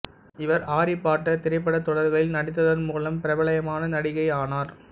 இவர் Harry Potter திரைப்பட தொடர்களில் நடித்ததன் மூலம் பிரபலயமான நடிகை ஆனார்